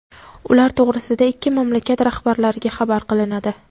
ular to‘g‘risida ikki mamlakat rahbarlariga xabar qilinadi.